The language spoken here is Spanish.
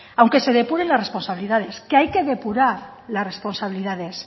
aunque se depuren las responsabilidades que hay que depurar las responsabilidades